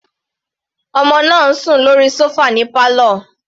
Ọmọ náà ń sùn lórí sofa ní pálọ̀.